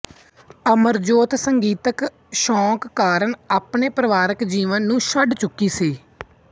ਅਮਰਜੋਤ ਸੰਗੀਤਕ ਸ਼ੌਕ ਕਾਰਨ ਆਪਣੇ ਪਰਿਵਾਰਕ ਜੀਵਨ ਨੂੰ ਛੱਡ ਚੁੱਕੀ ਸੀ